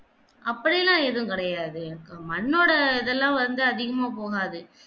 அப்படியெல்லாம் ஏதும் கிடையாது எர் மண்ணோட இதல்லாம் வந்து அதிகமா போகாது